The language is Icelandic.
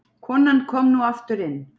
Konan kom nú aftur inn.